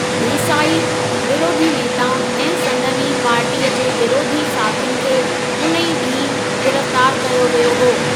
देसाई, विरोधी नेताउनि ऐं संदनि ई पार्टीअ जे विरोधी साथियुनि खे उन ई ॾींहुं गिरफ़्तारु कयो वियो हो।